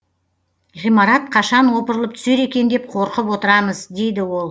ғимарат қашан опырылып түсер екен деп қорқып отырамыз дейді ол